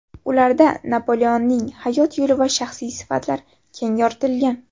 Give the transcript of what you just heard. Ularda Napoleonning hayot yo‘li va shaxsiy sifatlari keng yoritilgan.